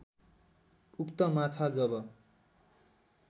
उक्त माछा जब